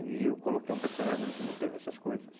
E eu coloquei um personagem ali que não teve essas coisas.